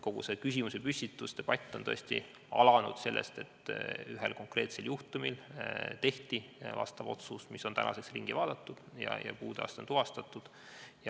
Kogu see küsimusepüstitus, debatt on tõesti alanud sellest, et ühe konkreetse juhtumi puhul tehti vastav otsus, mis tänaseks on üle vaadatud ja puudeaste tuvastatud.